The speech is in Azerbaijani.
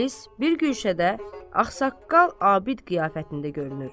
İblis bir gün şədə axsaqqal abid qiyafətində görünür.